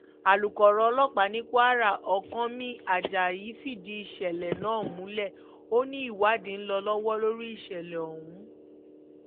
àlùkòrò ọlọ́pàá ní kwara ọ̀kánmi ajayi fìdí ìṣẹ̀lẹ̀ náà múlẹ̀ ó ní ìwádìí ń lọ lọ́wọ́ lórí ìṣẹ̀lẹ̀ ọ̀hún